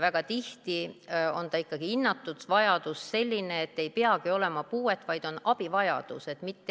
Väga tihti on ikkagi hinnatud vajadus selline, et ei peagi olema puuet, vaid on abivajadus.